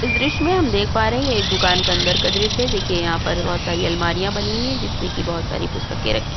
इस दृश्य में हम देख पा रहे है। एक दुकान के अंदर का दृश्य है। देखिये यहां पर बोहोत सारी अलमारियां बनी हैं। जिसमें कि बोहोत सारी पुस्तक रखी--